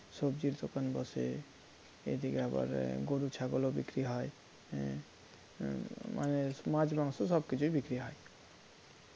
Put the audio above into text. সবজির দোকান বসে এদিকে আবার গরু ছাগলও বিক্রী হয় মানে মাছ মাংস সবকিছুই বিক্রী হয়